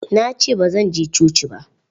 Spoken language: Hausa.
Na ce ba zan je coci ba.